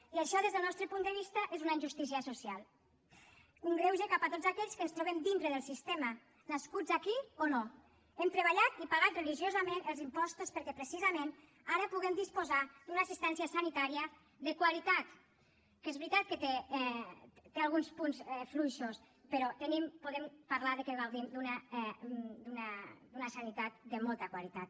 i això des del nostre punt de vista és una injustícia social un greuge cap a tots aquells que ens trobem dintre del sistema nascuts aquí o no hem treballat i pagat religiosament els impostos perquè precisament ara puguem disposar d’una assistència sanitària de qualitat que és veritat que té alguns punts fluixos però podem parlar de que gaudim d’una sanitat de molta qualitat